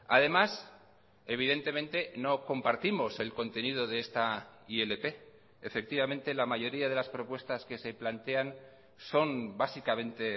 además evidentemente no compartimos el contenido de esta ilp efectivamente la mayoría de las propuestas que se plantean son básicamente